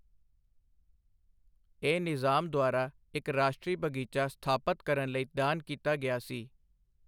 ਇਹ ਨਿਜ਼ਾਮ ਦੁਆਰਾ ਇੱਕ ਰਾਸ਼ਟਰੀ ਬਗ਼ੀਚਾ ਸਥਾਪਤ ਕਰਨ ਲਈ ਦਾਨ ਕੀਤਾ ਗਿਆ ਸੀ।